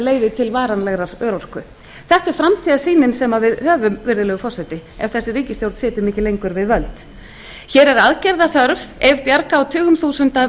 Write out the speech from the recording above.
leiði til varanlegrar örorku þetta er framtíðarsýnin sem við höfum virðulegi forseti ef þessi ríkisstjórn situr mikið lengur við völd hér er aðgerða þörf ef bjarga á tugum þúsunda